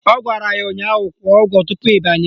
Ọ gwara ya ụnyaahụ "Kwụọ ụgwọ tupu ị banye"!